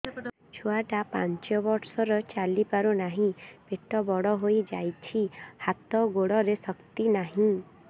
ଛୁଆଟା ପାଞ୍ଚ ବର୍ଷର ଚାଲି ପାରୁ ନାହି ପେଟ ବଡ଼ ହୋଇ ଯାଇଛି ହାତ ଗୋଡ଼ରେ ଶକ୍ତି ନାହିଁ